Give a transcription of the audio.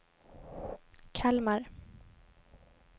Kalmar